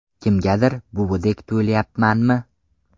Kimgadir buvidek tuyilyapmanmi?